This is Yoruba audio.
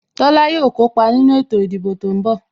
Tola yo kópa nínú ètò ìdìbò tó ń bọ̀